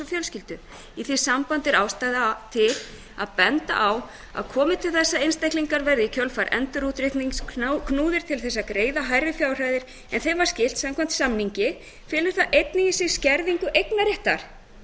fjölskyldu í því sambandi er ástæða til að benda á að komi til þess að einstaklingar verði í kjölfar endurútreiknings knúnir til að greiða hærri fjárhæðir en þeim var skylt samkvæmt samningi felur það einnig í sér skerðingu eignarréttar um þetta